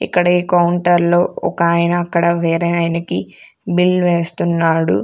ఇక్కడ ఈ కౌంటర్లో ఒక ఆయన అక్కడ వేరే ఆయనకి బిల్ వేస్తున్నాడు.